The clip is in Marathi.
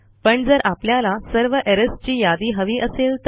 पण जर आपल्याला सर्व एरर्स ची यादी हवी असेल तर